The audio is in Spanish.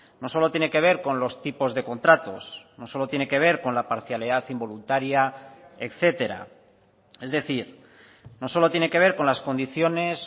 no solo tiene que ver con los tipos de contratos no solo tiene que ver con la parcialidad involuntaria etcétera es decir no solo tiene que ver con las condiciones